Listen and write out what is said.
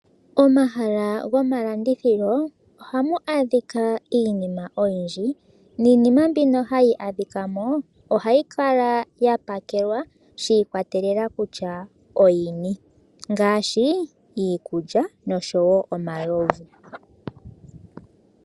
Omahala gomalandithilo oha mu adhika iinima oyindji niinima mbino hayi adhikamo oha yi kala ya pakelwa shiikwatelela kutya oyini ngaashi iikulya noshowo omalovu.